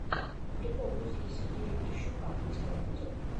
прикол музыки сергея грищука у тебя будет